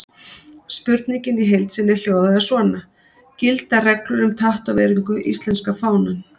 Spurningin í heild sinni hljóðaði svona: Gilda reglur um tattóveringu íslenska fánann?